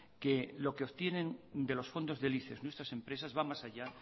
que lo que obtienen de los fondos del icex nuestrasempresas va más allá